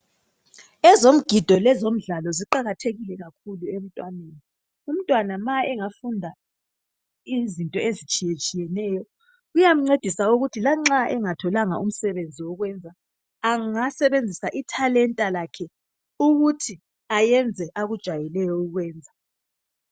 Ezomgido lezomdlalo ziqakathekile kakhulu emntwaneni. Umntwana nxa engafunda izinto ezitshiyeneyo kuyamncedisa ukuthi lanxa engatholanga umsebenzi wokwenza angasebenzisa ithalenta lakhe ukuthi ayenze akujayeleyo ukukwenza.